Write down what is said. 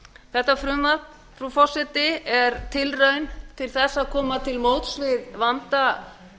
þetta frumvarp frú forseti er tilraun til þess að koma til móts við vanda